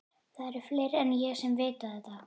Það eru fleiri en ég sem vita þetta.